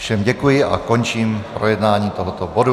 Všem děkuji a končím projednávání tohoto bodu.